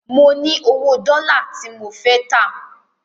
Mo ní owó dọ́là tí mo fẹ́ tà.